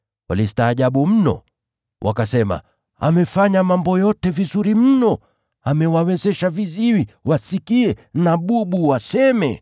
Walistaajabu mno. Wakasema, “Amefanya mambo yote vizuri mno! Amewawezesha viziwi wasikie na bubu waseme!”